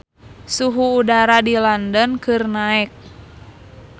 Suhu udara di London keur naek